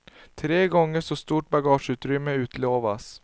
Tre gånger så stort bagageutrymme utlovas.